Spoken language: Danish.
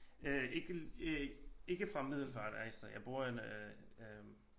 Øh ikke øh ikke fra Middelfart altså jeg bor øh